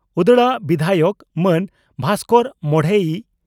ᱩᱫᱽᱲᱟ ᱵᱤᱫᱷᱟᱭᱚᱠ ᱢᱟᱹᱱ ᱵᱷᱟᱥᱠᱚᱨ ᱢᱚᱰᱷᱮᱭᱤ